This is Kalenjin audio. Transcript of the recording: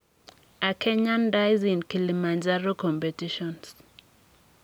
A kenyan dies in kilimanjaro competitions.